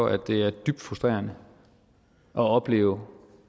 at det er dybt frustrerende at opleve